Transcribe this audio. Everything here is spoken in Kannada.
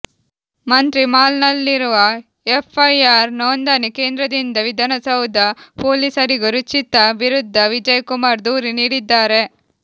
ಮಂತ್ರಿಮಾಲ್ನಲ್ಲಿರುವ ಎಫ್ಐಆರ್ ನೋಂದಣಿ ಕೇಂದ್ರದಿಂದ ವಿಧಾನಸೌಧ ಪೊಲೀಸರಿಗೂ ರುಚಿತ ವಿರುದ್ಧ ವಿಜಯ್ ಕುಮಾರ್ ದೂರು ನೀಡಿದ್ದಾರೆ